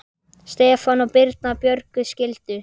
Stefán og Birna Björg skildu.